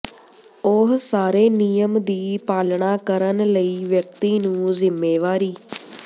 ਉਹ ਸਾਰੇ ਨਿਯਮ ਦੀ ਪਾਲਣਾ ਕਰਨ ਲਈ ਵਿਅਕਤੀ ਨੂੰ ਜ਼ਿੰਮੇਵਾਰੀ